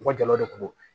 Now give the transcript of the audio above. U ka jala de ko don